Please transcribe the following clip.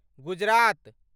Gujarat